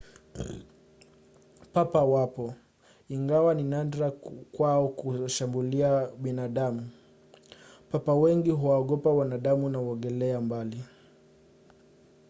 papa wapo ingawa ni nadra kwao kuwashambulia binadamu. papa wengi huwaogopa wanadamu na huogelea mbali